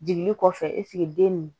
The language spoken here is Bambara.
Jigini kɔfɛ eseke den nin